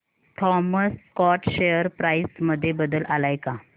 Thomas Scott share price मध्ये बदल आलाय का